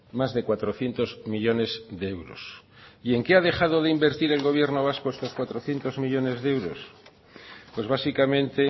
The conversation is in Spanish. más de cuatrocientos millónes de euros y en qué ha dejado de invertir el gobierno vasco esos cuatrocientos millónes de euros pues básicamente